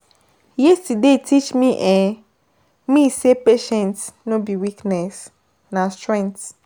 Yesterday teach um me say patience no be weakness, na strength.